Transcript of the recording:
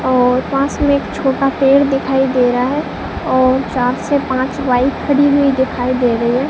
और पास में एक छोटा पेड़ दिखाई दे रहा है और चार से पांच बाइक खड़ी हुई दिखाई दे रही है।